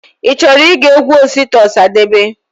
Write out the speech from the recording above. Ichọrọ ige egwu Osita Osadebe?